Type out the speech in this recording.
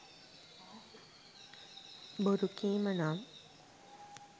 බොරු කීම නම්